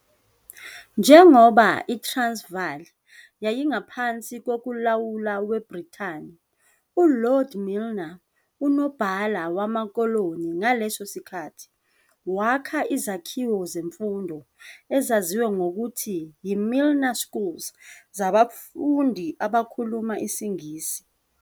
Njengoba iTransvaal yayingaphansi kokulawulwa kweBritani, uLord Milner, uNobhala Wamakoloni ngaleso sikhathi, wakha izakhiwo zemfundo, ezaziwa ngokuthi yi-Milner Schools, zabafundi abakhuluma isiNgisi.